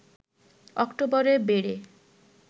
অক্টোবরে বেড়ে